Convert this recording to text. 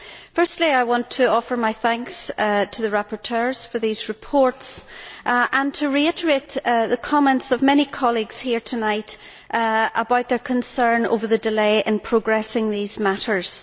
Firstly, I want to offer my thanks to the rapporteurs for these reports and to reiterate the comments of many colleagues here tonight about their concern over the delay in progressing these matters.